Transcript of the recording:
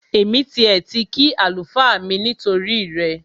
Èmi tiẹ̀ ti kí àlùfáà mi nítorí rẹ